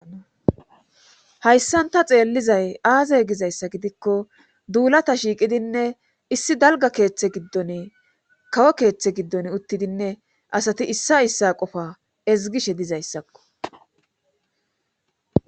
hayssanta xeellizay aaze gizayssa gidikko duulata shiiqidinne issi dalga keeththe giddon kawo keeththe giddon uttidinne asati issa issa qofa ezgishe dizayssakko